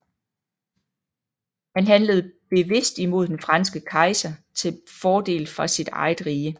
Han handlede bevidst imod den franske kejser til fordel for sit eget rige